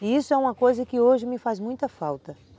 E isso é uma coisa que hoje me faz muita falta.